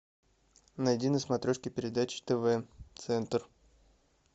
найди на смотрешке передачу тв центр